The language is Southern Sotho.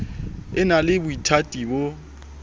e na le boithati bo